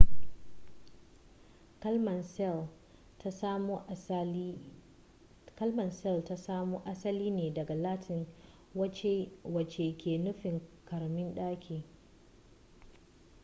kalmar cell ta samo asali ne daga latin wacce ke nufin karamin daki